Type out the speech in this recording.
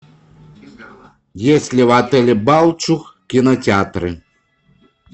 есть ли в отеле балчуг кинотеатры